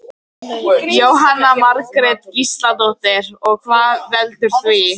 Jóhanna Margrét Gísladóttir: Og hvað veldur því?